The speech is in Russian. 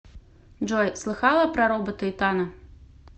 джой слыхала про робота итана